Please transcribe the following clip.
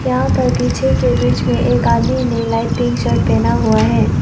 यहां पर पीछे के ब्रिज में एक आदमी ने लाइट पिंक शर्ट पहना हुआ है।